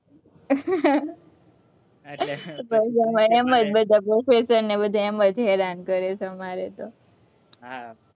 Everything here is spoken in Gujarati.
બસ અમારે એમ જ બધા professor ને બધા એમ જ હેરાન કરે અમારે તો